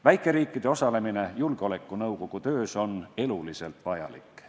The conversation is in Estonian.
Väikeriikide osalemine Julgeolekunõukogu töös on eluliselt vajalik.